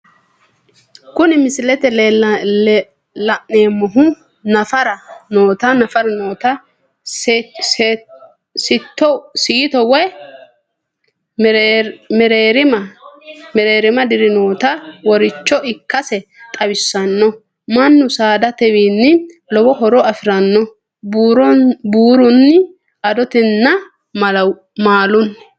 Kuni misilete la'neemohu, Nafara nootta siito woyi mereerima deera nootta woricho ikkase xawissano, manu saadatewini lowo horo afirano, buurunni, adotenninna maalunni